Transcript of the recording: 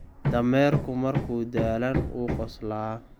Dameerku markuu daalan wuu qoslaa.